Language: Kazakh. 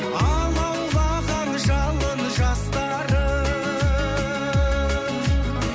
алаулаған жалын жастарым